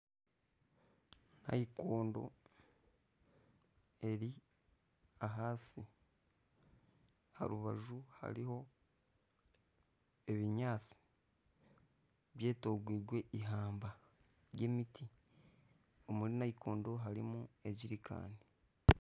Naikondo eri ahansi aha rubaju hariho ebinyaatsi byetooreirwe ihamba ry'emiti omuri naikondo harimu ejerikani